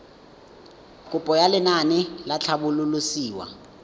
kopo ya lenaane la tlhabololosewa